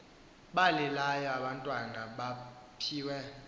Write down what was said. balilayo abantwana mabaphiwe